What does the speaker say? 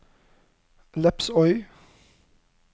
Lepsøy